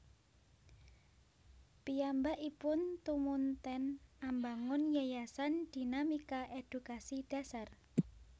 Piyambakipun tumunten ambangun Yayasan Dinamika Edukasi Dasar